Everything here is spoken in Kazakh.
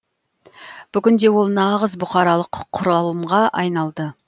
бүгінде ол нағыз бұқаралық құралымға айналды